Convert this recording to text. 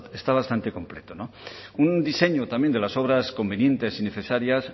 está bastante completo un diseño también de las obras convenientes y necesarias